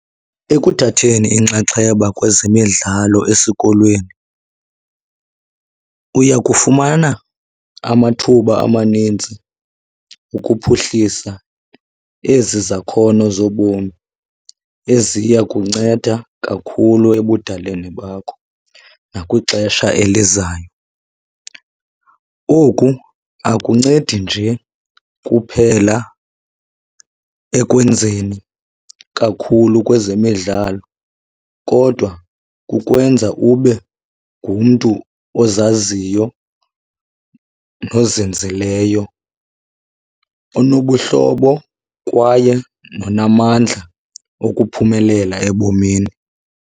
Ekuthatheni inxaxheba kwezemidlalo esikolweni uyakufumana amathuba amaninzi ukuphuhlisa ezi zakhono zobomi eziya kunceda kakhulu ebudaleni bakho nakwixesha elizayo. Oku akuncedi nje kuphela ekwenzeni kakhulu kwezemidlalo, kodwa kukwenza ube ngumntu ozaziyo nozinzileyo, onobuhlobo kwaye nonamandla okuphumelela ebomini.